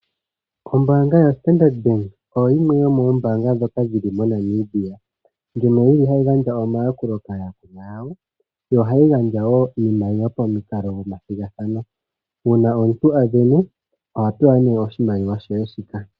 Ombanga yoStandard bank oyo yimwe yomombanga ndhoka dhili moNamibia ndjono yili hayi gandja omayakulo kaayalkulwa yoyo yo ohayi gandja iimaliwa pamikalo dhomathigathano uuna omuntu avene ohapewa oshimaliwa she shika.